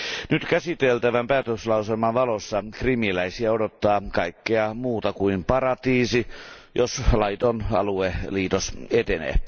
Nyt käsiteltävän päätöslauselman valossa krimiläisiä odottaa kaikkea muuta kuin paratiisi, jos laiton alueliitos etenee.